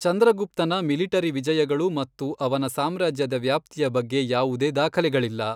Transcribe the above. ಚಂದ್ರಗುಪ್ತನ military ವಿಜಯಗಳು ಮತ್ತು ಅವನ ಸಾಮ್ರಾಜ್ಯದ ವ್ಯಾಪ್ತಿಯ ಬಗ್ಗೆ ಯಾವುದೇ ದಾಖಲೆಗಳಿಲ್ಲ.